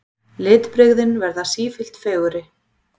Litbrigðin verða sífellt fegurri.